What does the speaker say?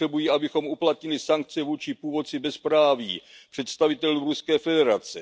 Potřebují, abychom uplatnili sankce vůči původci bezpráví, představitelům Ruské federace.